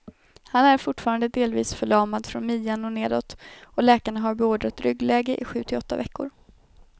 Han är fortfarande delvis förlamad från midjan och nedåt, och läkarna har beordrat ryggläge i sju till åtta veckor.